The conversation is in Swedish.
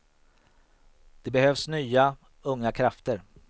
Det behövs nya, unga krafter.